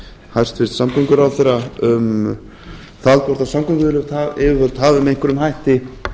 hæstvirts samgönguráðherra um það hvort samgönguyfirvöld hafi með einhverjum hætti